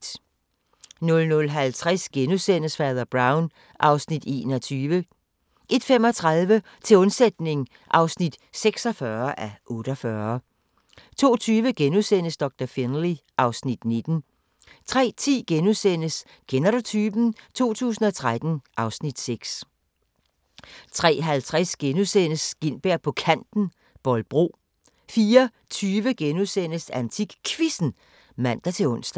00:50: Fader Brown (Afs. 21)* 01:35: Til undsætning (46:48) 02:20: Doktor Finlay (Afs. 19)* 03:10: Kender du typen? 2013 (Afs. 6)* 03:50: Gintberg på Kanten – Bolbro * 04:20: AntikQuizzen *(man-ons)